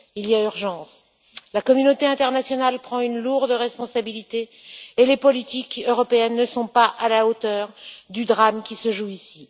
Il y a urgence. La communauté internationale prend une lourde responsabilité et les politiques européennes ne sont pas à la hauteur du drame qui se joue ici.